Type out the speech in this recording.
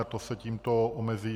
A to se tímto omezí.